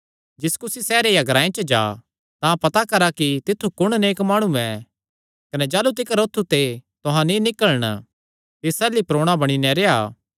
जिस कुसी सैहरे या ग्रांऐ च जा तां पता करा कि तित्थु कुण नेक माणु ऐ कने जाह़लू तिकर औत्थू ते तुहां नीं निकल़न तिस अल्ल ई रेह्आ